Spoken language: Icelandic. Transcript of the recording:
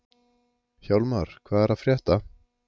Hjálmar, hvað er að frétta?